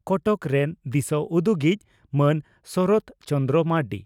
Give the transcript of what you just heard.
ᱠᱚᱴᱚᱠ ᱨᱮᱱ ᱫᱤᱥᱟᱹ ᱩᱫᱩᱜᱤᱡ ᱢᱟᱱ ᱥᱚᱨᱚᱛ ᱪᱚᱱᱫᱨᱚ ᱢᱟᱨᱱᱰᱤ